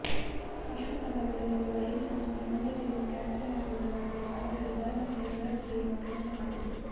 ಅಶ್ವಥ್ ನಗರದಲ್ಲಿರುವ ಈ ಸಂಸ್ಥೆ ನೊಂದ ಜೀವಕ್ಕೆ ಆಸರೆಯಾಗುವುದಲ್ಲದೇ ಅವರಲ್ಲಿ ಭರವಸೆಯ ಬೆಳಕು ಬೀರುವ ಕೆಲಸ ಮಾಡುತ್ತಿದೆ